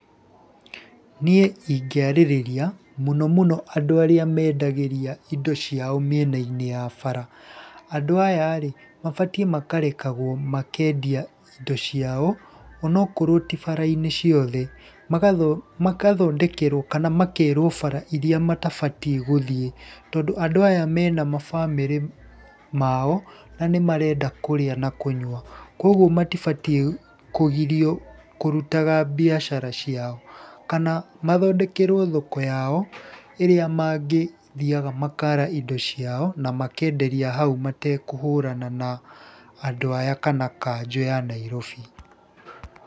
Niĩ ingĩarĩrĩria mũno mũno andũ ar`íĩ mendagĩria indo ciao mĩenainĩ ya bara, andũ aya rĩ mabatiĩ makarekagwo makendia indo ciao onokorwo ti bara-inĩ ciothe. Makathondekerwo kana makerwo bara iria matabatiĩ gũthiĩ tondũ andũ aya mena mabamĩrĩ mao, na nĩ marenda kũrĩa na kũnyua. Kũguo matibatiĩ kũgirio kũrutaga mbiacara ciao. Kana mathondekerwo thoko yao ĩrĩa mangĩthiaga makara indo ciao na makenderia hau matekuhũrana na andũ aya kana kanjũ ya Nairobi.